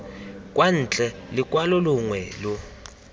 kwa ntle lokwalo longwe lo